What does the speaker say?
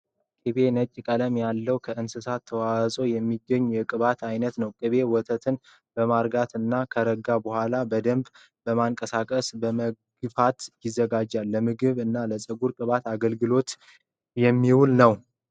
ቅቤ ነጭ ቀለም ያለው ከእንስሳት ተዋፅኦ የሚገኝ የቅባት አይነት ነው። ቅቤ ወተትን በማርጋት እና ከረጋ በኋላ በደንብ በማንቀሳቀስ (በመግፋት) ይዘጋጃል። ለምግብ እና ለፀጉር ቅባት አገልግሎት ይውላል።